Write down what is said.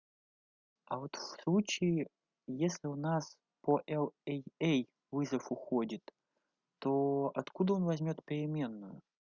а вот в случае если у нас по л эй эй вызов уходит то откуда он возьмёт переменную